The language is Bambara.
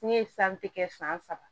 Ne ye kɛ san saba